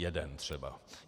Jeden třeba.